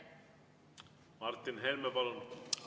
Martin Helme, palun!